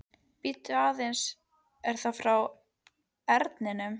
Bíddu aðeins, er það frá Erninum?